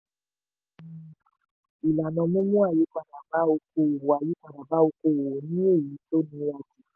àwọn náà ni: ìlànà mímú àyípadà bá òkòòwò àyípadà bá òkòòwò ni èyí tó nira jù.